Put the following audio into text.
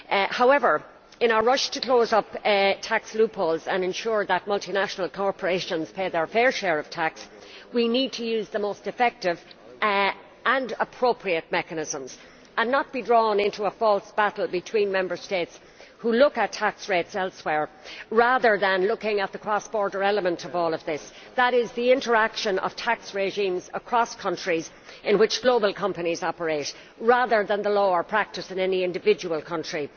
However, in our rush to close up tax loopholes and ensure that multinational corporations pay their fair share of tax, we need to use the most effective and appropriate mechanisms and not be drawn into a false battle between Member States which look at tax rates elsewhere, rather than looking at the cross border element of all of this that is, the interaction of tax regimes across countries in which global companies operate, rather than the law or practice in any individual country.